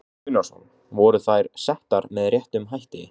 Tryggvi Gunnarsson: Voru þær settar með réttum hætti?